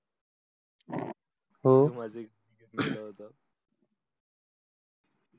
हो मधी गेला होता.